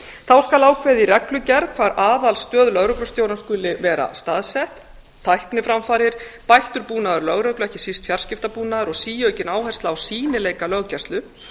þá skal ákveðið í reglugerð hvar aðalstöð lögreglustjóra skuli vera staðsett tækniframfarir bættur búnaður lögreglu ekki síst fjarskiptabúnaður og síaukin áhersla á sýnileika löggæslu